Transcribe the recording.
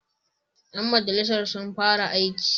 Ƴan majalisa sun fara aiki.